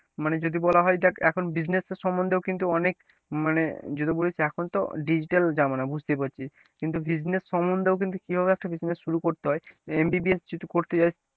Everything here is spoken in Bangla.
মানে যদি বলা হয় দেখ এখন business এর সম্বন্ধেও কিন্তু অনেক মানে যদি বলিস এখন তো digital জামানা বুঝতেই পারছিস কিন্তু business সম্বন্ধেও কিন্তু কিভাবে একটা business শুরু করতে হয় MBBS যদি করতে চাস,